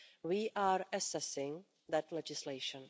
We are assessing that legislation.